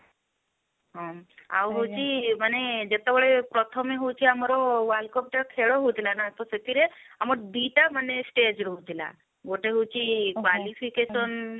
ହଁ ଆଉ ହଉଛି ମାନେ ଯେତେବେଳେ ପ୍ରଥମେ ହଉଛି ଆମର world cup ଟା ଖେଳ ହଉଥିଲା ନା ତ ସେଥିରେ ଆମର ଦି ଟା ମାନେ stage ରହୁଥିଲା ଗୋଟେ ହେଲା qualification